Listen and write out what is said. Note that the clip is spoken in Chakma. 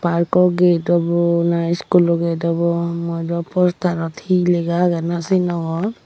aro ikko gate obow na school o gate obow hijeni mui dw postarot hi lega agey naw sinongor.